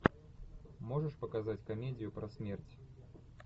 можешь показать комедию про смерть